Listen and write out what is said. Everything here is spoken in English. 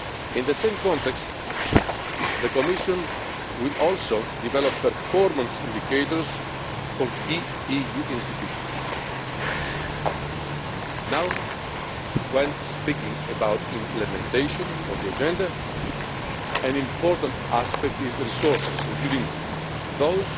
In the same context, the Commission will also develop performance indicators for key EU institutions. Now, when speaking about implementation of the agenda, an important aspect is resources, including